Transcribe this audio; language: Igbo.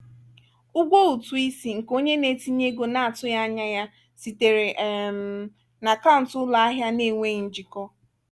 ụgwọ ụtụ isi nke onye na-etinye ego na-atụghị anya ya sitere um na akaụntụ ụlọ ahịa na-enweghị njikọ.